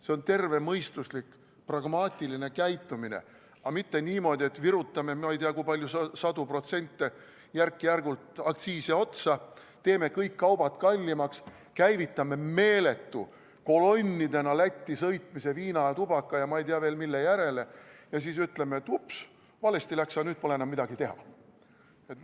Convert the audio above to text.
See on tervemõistuslik, pragmaatiline käitumine, aga mitte niimoodi, et virutame – ma ei tea, kui palju – sadu protsente järk-järgult aktsiisile otsa, teeme kõik kaubad kallimaks, käivitame meeletu kolonnidena Lätti sõitmise viina ja tubaka ja ma ei tea, veel mille järele ja ütleme, et ups, valesti läks, aga nüüd pole enam midagi teha.